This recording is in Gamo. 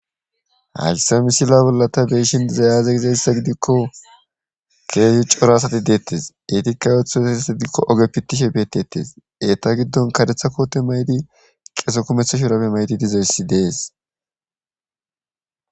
hayssa misila bollata beeshin diza yaaze gizayssa gidikko keehi cora asati deettes etikka ootho eheesa gidikko oge pittishe beetettes eeta giddon kadetha koote maydi qeeso kumetha shurabe maydi dizoyssi dees